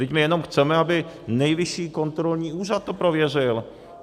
Vždyť my jenom chceme, aby Nejvyšší kontrolní úřad to prověřil.